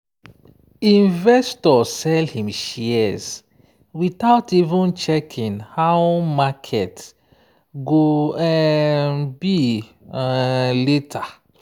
investor sell him shares without even checking how market go um be um later.